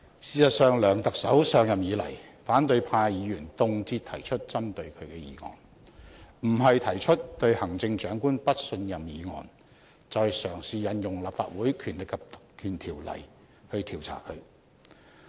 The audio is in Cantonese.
事實上，梁特首上任以來，反對派議員動輒提出針對他的議案；不是提出"對行政長官不信任"議案，就是嘗試引用《立法會條例》調查他。